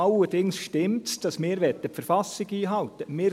Allerdings stimmt es, dass wir die Verfassung einhalten möchten.